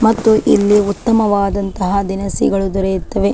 ಮತ್ತು ಇಲ್ಲಿ ಉತ್ತಮವಾದಂತಹ ದಿನಸಿಗಳು ದೊರೆಯುತ್ತವೆ.